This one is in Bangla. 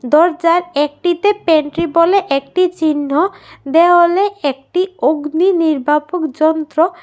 দরজার একটিতে পেন্ট্রি বলে একটি চিহ্ন দেওয়ালে একটি অগ্নি নির্বাপক যন্ত্র।